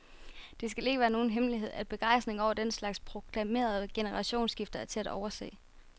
Det skal ikke være nogen hemmelighed, at begejstringen over den slags proklamerede generationsskifter er til at overse.